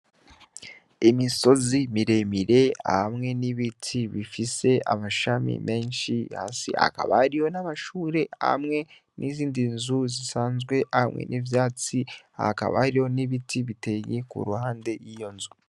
Imisozi miremire hamwe n'ibiti bifise amashami menshi hasi hakabariyo n'abashure hamwe n'izindi nzu zisanzwe hamwe n'ivyatsi hakabaho n'ibiti biteye ku ruhande yiyo nzu.